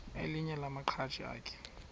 elinye lamaqhaji akhe